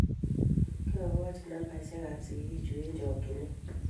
Kiakochi nambeshek a sikik chuk eng chokchet